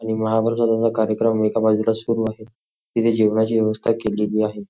आणि महाप्रसादाचा कार्यक्रम इथे एका बाजूला सुरु आहे. इथे जेवणाची व्यवस्था केलेली आहे.